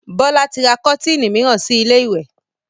Bọlá tí ra kọ́tiinì miran si ilé ìwẹ̀